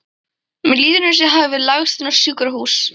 Mér líður eins og ég hafi lagst inn á sjúkrahús.